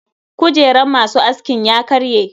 Kujeran masu askin ya karye.